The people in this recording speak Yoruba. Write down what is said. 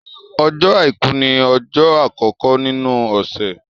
Ọjọ́ àìkú ní ọjọ́ àkọ́kọ́ nínu ọ̀sẹ̀.